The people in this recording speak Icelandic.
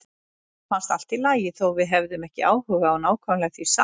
Mér fannst allt í lagi þótt við hefðum ekki áhuga á nákvæmlega því sama.